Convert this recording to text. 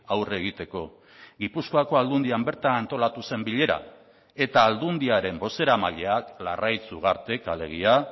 aurre egiteko gipuzkoako aldundian bertan antolatu zen bilera eta aldundiaren bozeramaileak larraitz ugartek alegia